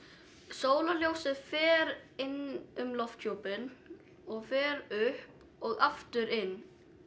sólarljósið fer inn um lofthjúpinn og fer upp og aftur inn